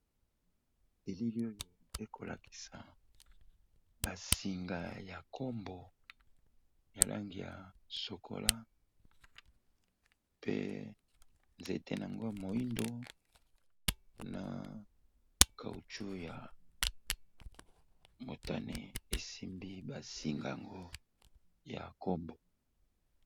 Eliili oyo eko lakisa ba singa ya nkombo ya langi ya chocola pe nzete n'ango ya moyindo na caoucshou ya motane e simbi ba sing'ango ya kombo .